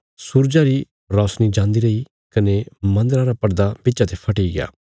सूरजा री रोशनी जान्दी रैई कने मन्दरा रा पड़दा बिच्चा ते फटिग्या